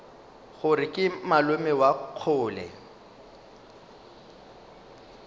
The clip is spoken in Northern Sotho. gore ke malome wa kgole